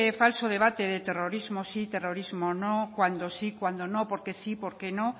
falso debate de terrorismo sí terrorismo no cuando sí cuando no porque sí porque no